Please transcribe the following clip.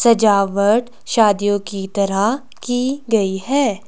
सजावट शादियों की तरह की गई है।